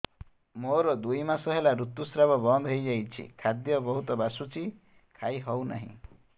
ମୋର ଦୁଇ ମାସ ହେଲା ଋତୁ ସ୍ରାବ ବନ୍ଦ ହେଇଯାଇଛି ଖାଦ୍ୟ ବହୁତ ବାସୁଛି ଖାଇ ହଉ ନାହିଁ